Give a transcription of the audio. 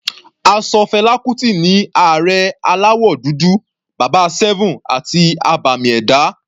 A ṣọ Fela Kuti ní Ààrẹ aláwọ̀ dúdú, bàbá 7 àti abàmì ẹ̀dá.